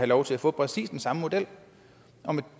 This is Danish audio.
lov til at få præcis den samme model